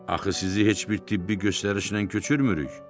Axı sizi heç bir tibbi göstərişlə köçürmürük.